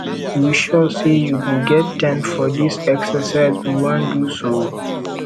you sure say you go get time for dis exercise we wan do so